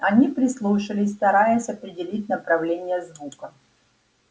они прислушались стараясь определить направление звука